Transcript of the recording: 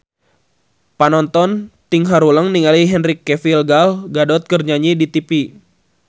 Panonton ting haruleng ningali Henry Cavill Gal Gadot keur nyanyi di tipi